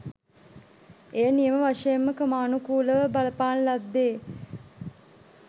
එය නියම වශයෙන්ම ක්‍රමානුකූලව බලපාන ලද්දේ